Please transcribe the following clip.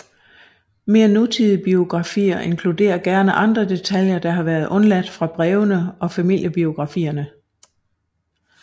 Mere nutidige biografier inkluderer gerne andre detaljer der har været undladt fra brevene og familiebiografierne